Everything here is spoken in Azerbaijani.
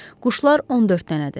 Quşlar 14 dənədir.